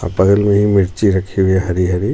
और बगल मे ही मिर्ची रखी हुई हे हरी हरी.